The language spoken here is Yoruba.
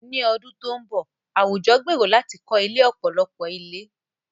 Ní ọdún tó ń bọ̀, àwùjọ gbèrò láti kọ́ ilé ọ̀pọ̀lọpọ̀ ilé.